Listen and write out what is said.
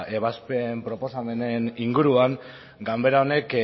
ebazpen proposamenen inguruan ganbera honek